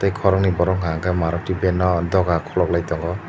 koroknoi borok hingka kei maruti ban o doga kologlai tongo.